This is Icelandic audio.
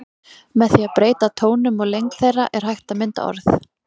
Með því að breyta tónum og lengd þeirra er hægt að mynda orð.